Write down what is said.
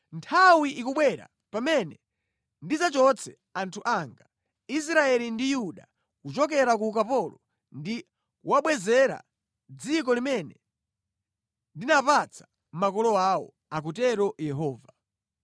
Nthawi ikubwera pamene ndidzachotse anthu anga, Israeli ndi Yuda kuchokera ku ukapolo ndi kuwabwezera dziko limene ndinapatsa makolo awo,’ akutero Yehova.”